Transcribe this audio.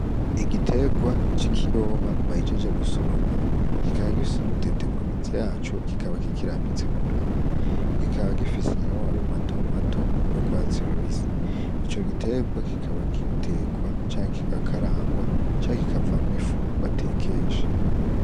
Igiterwa c'ikiyoba bahejeje gusoroma kikaba gifise udutete ku mizi yaco kikaba kikirambitse mu murima, kikaba gifise n'amababi mato mato y'urwatsi rubisi. Ico giterwa kikaba gitekwa canke kikakarangwa canke kikavamwo ifu batekesha.